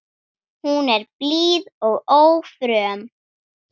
Hún er blíð og ófröm.